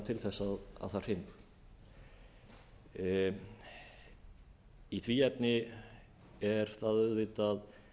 til þess að það hrynur í því efni er það auðvitað